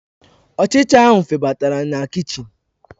Ọchịcha ahụ febatara na kichin.